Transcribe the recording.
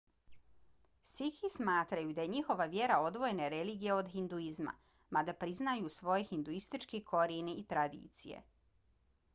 sikhi smatraju da je njihova vjera odvojena religija od hinduizma mada priznaju svoje hinduističke korijene i tradicije